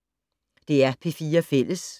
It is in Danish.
DR P4 Fælles